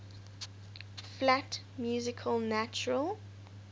flat music natural